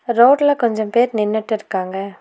ரோட்ல கொஞ்சம் பேர் நின்னுட்டு இருக்காங்க.